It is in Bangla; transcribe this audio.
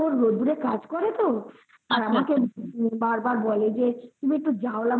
রোদ্রে কাজ করে তো আমাকে বারবার বলে যে তুমি একটু জাউলা মাছ